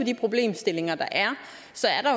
de problemstillinger der er